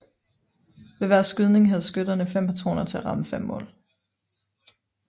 Ved hver skydning have skytterne fem patroner til at ramme fem mål